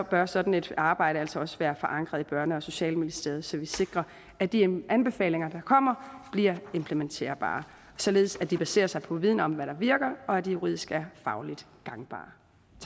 bør sådan et arbejde altså være forankret i børne og socialministeriet så vi sikrer at de anbefalinger der kommer bliver implementerbare således at de baserer sig på viden om hvad der virker og at de juridisk er fagligt gangbare